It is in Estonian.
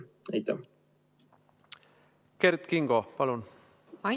Kert Kingo, palun!